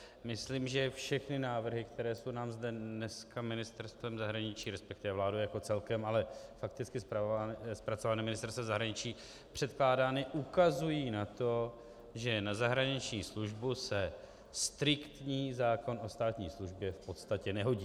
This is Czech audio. Myslím, že všechny návrhy, které jsou nám zde dneska ministerstvem zahraničí, respektive vládou jako celkem, ale fakticky zpracované ministerstvem zahraničí, překládány, ukazují na to, že na zahraniční službu se striktní zákon o státní službě v podstatě nehodí.